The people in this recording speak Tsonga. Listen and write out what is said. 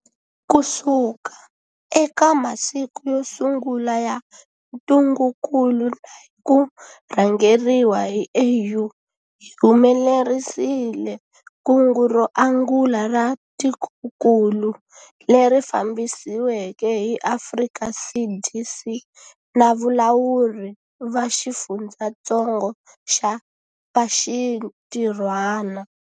Kusuka eka masiku yo sungula ya ntungukulu na hi ku rhangeriwa hi AU, hi humelerisile kungu ro angula ra tikokulu, leri fambisiweke hi Afrika CDC na valawuri va xifundzatsongo va xintirhwana.